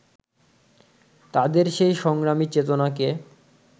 তাঁদের সেই সংগ্রামী চেতনাকে